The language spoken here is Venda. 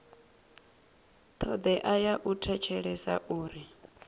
thodea ya u thetshelesa uri